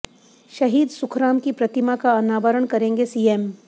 शहीद सुखराम की प्रतिमा का अनावरण करेंगे सीएम